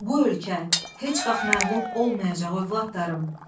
Bu ölkə heç vaxt məğlub olmayacaq övladlarım.